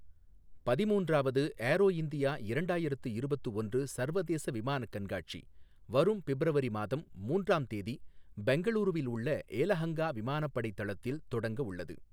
பதிமூன்றாவது Aero India இரண்டாயிரத்து இருபத்து ஒன்று சர்வதேச விமானக் கண்காட்சி வரும் பிப்ரவரி மாதம் மூன்றாம் தேதி பெங்களூரூவில் உள்ள ஏலஹங்கா விமானப்படை தளத்தில் தொடங்க உள்ளது.